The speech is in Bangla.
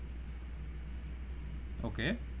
Okay